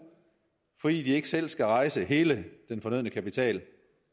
fordi de ikke selv skal rejse hele den fornødne kapital